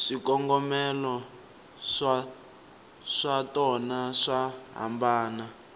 swikongomelo swatona swa hambana